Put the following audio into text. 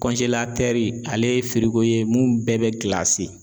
ale ye ye mun bɛɛ bɛ